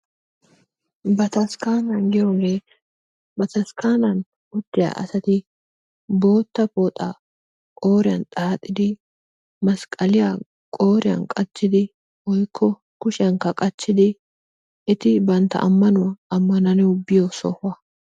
Bataskkana giyooge ba taskkanani uttiyaa asatti bootta pooxaa qooriyan xaaxidi masqalliya qooriyan qachchidi woykko kushiyankka qachchidi etti bantta amanuwaa amananawu biyo sohuwaa.